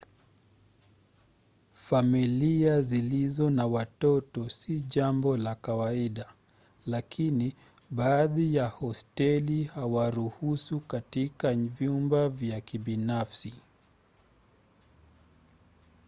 familia zilizo na watoto si jambo la kawaida lakini baadhi ya hosteli huwaruhusu katika vyumba vya kibinafsi